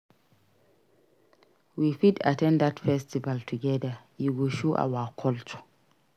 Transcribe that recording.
We fit at ten d that festival together; e go show our culture.